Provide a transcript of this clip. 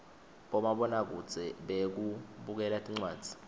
bomabona kudze bekubukela tindzaba